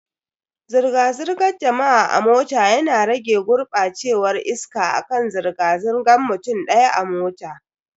Zirga-zirgar jama'a a mota yana rage gurbacewar iska akan zirga zirgan mutum daya a mota.